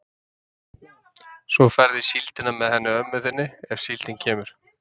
Svo ferðu í síldina með henni ömmu þinni, ef síldin kemur.